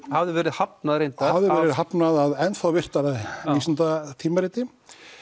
hafði verið hafnað reyndar já hafði verið hafnað af enn virtara vísindatímariti